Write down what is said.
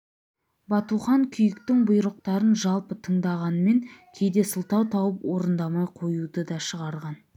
батухан күйіктің бұйрықтарын жалпы тыңдағанмен кейде сылтау тауып орындамай қоюды да шығарған